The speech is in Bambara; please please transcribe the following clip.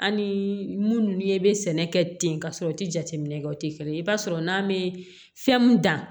Ani munnu ye sɛnɛ kɛ ten ka sɔrɔ u tɛ jateminɛ kɛ o tɛ kelen ye i b'a sɔrɔ n'an bɛ fɛn mun dan